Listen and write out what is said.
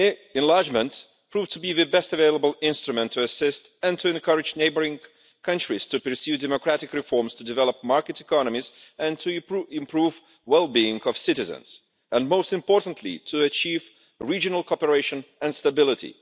Enlargement proved to be the best available instrument to assist and to encourage neighbouring countries to pursue democratic reforms, to develop market economies, to improve the well being of citizens and, most importantly, to achieve regional cooperation and stability.